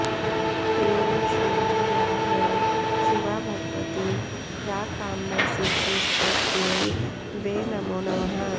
ह्रीं श्रीं या वै शिवा भगवती प्राकाम्यसिद्धिस्तस्यै वे नमो नमः